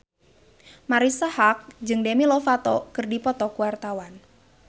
Marisa Haque jeung Demi Lovato keur dipoto ku wartawan